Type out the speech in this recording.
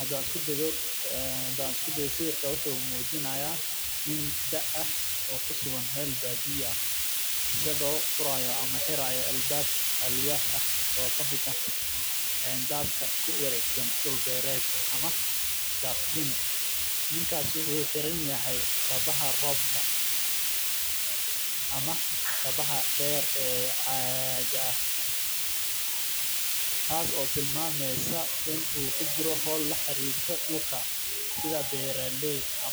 Hadaan isku dayo sawirka wuxuu mujinaaya nin daaha oo kusugan meel badiya ah asago oo furaaya albaab oo kabaxaaya meel caag ah oo kujiro howl dulka isda beeraleyda